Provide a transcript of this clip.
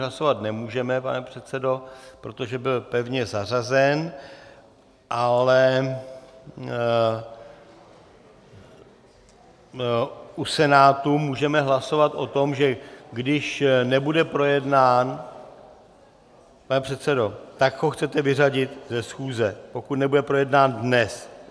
Hlasovat nemůžeme, pane předsedo, protože byl pevně zařazen, ale u Senátu můžeme hlasovat o tom, že když nebude projednán, pane předsedo, tak ho chcete vyřadit ze schůze, pokud nebude projednán dnes.